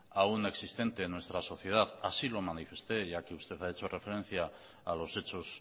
aún existente en nuestra sociedad así lo manifesté ya que usted ha hecho referencia a los hechos